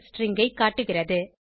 string ஐ காட்டுகிறது